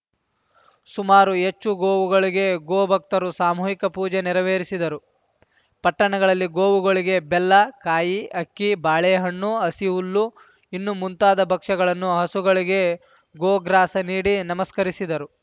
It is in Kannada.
ಸುಮಾರು ಹೆಚ್ಚು ಗೋವುಗಳಿಗೆ ಗೋ ಭಕ್ತರು ಸಾಮೂಹಿಕ ಪೂಜೆ ನೆರವೇರಿಸಿದರು ಪಟ್ಟಣಗಳಲ್ಲಿ ಗೋವುಗಳಿಗೆ ಬೆಲ್ಲ ಕಾಯಿ ಅಕ್ಕಿ ಬಾಳೆ ಹಣ್ಣು ಹಸಿ ಹುಲ್ಲು ಇನ್ನು ಮುಂತಾದ ಭಕ್ಷಗಳನ್ನು ಹಸುಗಳಿಗೆ ಗೋ ಗ್ರಾಸ ನೀಡಿ ನಮಸ್ಕರಿಸಿದರು